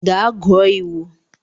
Gaa gụọ iwu.